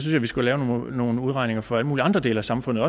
vi skal lave nogle udregninger for alle mulige andre dele af samfundet